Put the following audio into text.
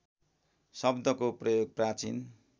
शब्दको प्रयोग प्राचीन